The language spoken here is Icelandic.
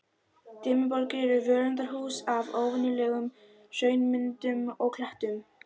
Dimmuborgir eru völundarhús af óvenjulegum hraunmyndunum og klettum.